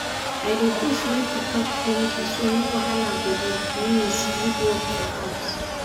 i dey push make we talk plenty so no wahala go dey when we split work for house.